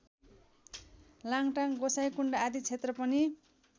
लाङटाङ गोसाइँकुण्ड आदि क्षेत्र पनि